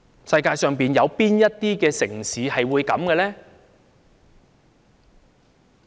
世界上有哪些城市會這樣呢？